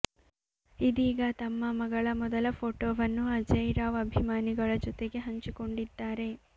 ಇದೀಗ ತಮ್ಮ ಮಗಳ ಮೊದಲ ಫೋಟೋವನ್ನು ಅಜಯ್ ರಾವ್ ಅಭಿಮಾನಿಗಳ ಜೊತೆಗೆ ಹಂಚಿಕೊಂಡಿದ್ದಾರೆ